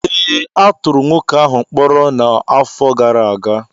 ee, a tụrụ nwoke ahụ mkpọrọ n’afọ gara aga